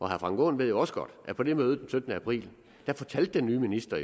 herre frank aaen ved jo også godt at på det møde den syttende april fortalte den nye minister